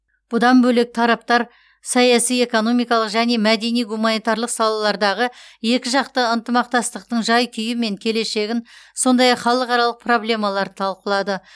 бұдан бөлек тараптар саяси экономикалық және мәдени гуманитарлық салалардағы екіжақты ынтымақтастықтың жай күйі мен келешегін сондай ақ халықаралық проблемаларды талқылады